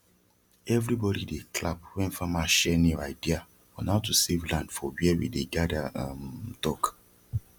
everi bodi dey clap wen farmer share new idea on how to save land for wia we dey gada um talk